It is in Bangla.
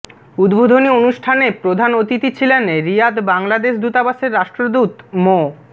উদ্বোধনী অনুষ্ঠানে প্রধান অতিথি ছিলেন রিয়াদ বাংলাদেশ দূতাবাসের রাষ্ট্রদূত মো